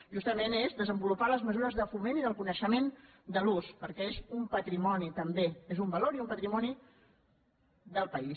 justament és desenvolupar les mesures de foment de l’ús i del coneixement perquè és un patrimoni també és un valor i un patrimoni del país